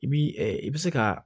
I bi i bi se ka